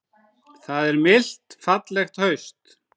Það er milt fallegt haust.